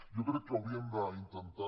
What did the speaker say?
jo crec que hauríem d’intentar